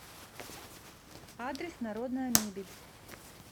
адрес народная мебель